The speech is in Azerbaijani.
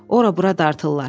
Ora bura dartırlar.